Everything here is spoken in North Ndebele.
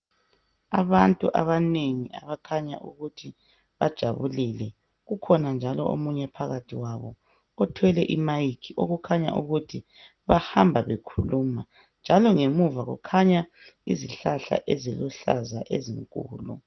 Abantu abanengi abakhanya ukuthi bajabulile. Kukhona omunye njalo phakathi kwabo othwele imayikhi okukhanya ukuthi bahamba bekhuluma njalo ngemuva kukhanya izihlahla eziluhlaza ezinkulu.